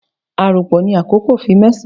A aranpo ni akoko, fi mẹsan